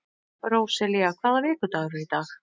Róselía, hvaða vikudagur er í dag?